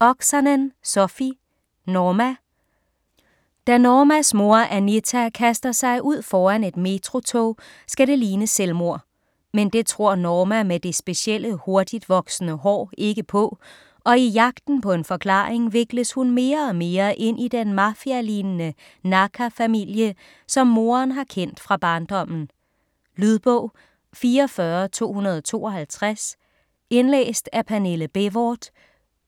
Oksanen, Sofi: Norma Da Normas mor, Anita, kaster sig ud foran et metrotog, skal det ligne et selvmord. Men det tror Norma med det specielle hurtigtvoksende hår ikke på, og i jagten på en forklaring vikles hun mere og mere ind i den mafialignende Naaka-familie, som moderen har kendt fra barndommen. Lydbog 44252 Indlæst af Pernille Bévort,